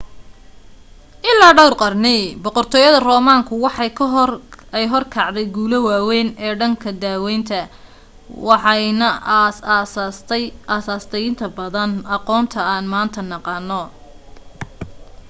ilaa dhowr qarni boqortooyada roman-ka waxa ay hor kacday guulo waaweyn ee dhanka daweynta waxa ayna aas aastay inta badan aqoonta aan maanta naqaano